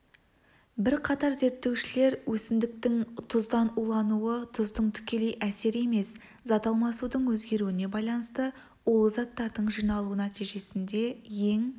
бірқатар зерттеушілер өсімдіктің тұздан улануы тұздың тікелей әсері емес зат алмасудың өзгеруіне байланысты улы заттардың жиналуы нәтижесінде ең